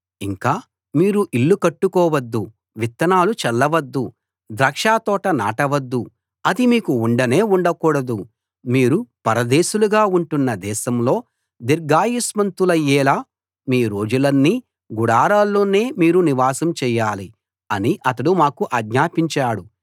ఇంకా మీరు ఇళ్ళు కట్టుకోవద్దు విత్తనాలు చల్ల వద్దు ద్రాక్షతోట నాటవద్దు అది మీకు ఉండనే ఉండకూడదు మీరు పరదేశులుగా ఉంటున్న దేశంలో దీర్ఘాయుష్మంతులయ్యేలా మీ రోజులన్నీ గుడారాల్లోనే మీరు నివాసం చెయ్యాలి అని అతడు మాకు ఆజ్ఞాపించాడు